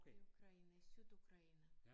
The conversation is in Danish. I Ukraine i Sydukraine